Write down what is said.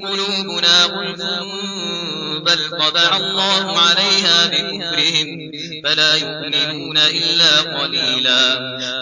قُلُوبُنَا غُلْفٌ ۚ بَلْ طَبَعَ اللَّهُ عَلَيْهَا بِكُفْرِهِمْ فَلَا يُؤْمِنُونَ إِلَّا قَلِيلًا